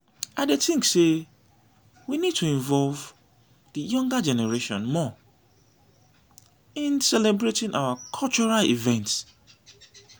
i dey think say we need to involve di younger generation more in celebrating our cultural events.